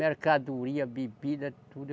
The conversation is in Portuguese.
Mercadoria, bebida, tudo.